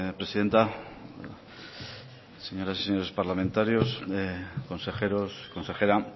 presidenta señoras y señores parlamentarios consejeros consejera